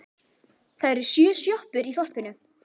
Það eru sjö sjoppur í þorpinu!